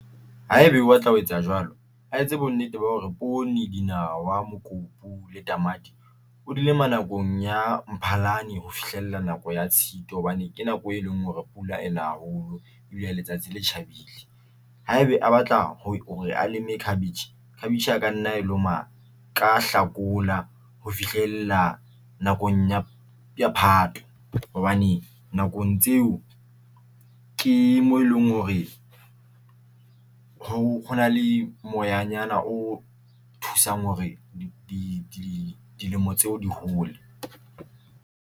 Haeba o batla ho etsa jwalo, a etse bonnete ba hore mokopu le o dinawa nakong ya Mphalane ho fihlella nako ya Tshitwe, hobane ke nako e leng hore pula ena haholo ebile letsatsi le tjhabile haebe a batla hore a leeme cabbage. Cabbage ka nna e lema ka Hlakola ho fihlella nakong ya Phato hobane nakong tseo ke mo e leng hore hona le moyanyana o thusang hore di dilemo tseo di hole.